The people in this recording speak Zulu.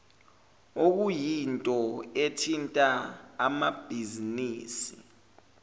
okuyinto ethinta amabhizinisi